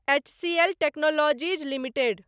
HCL technologies limited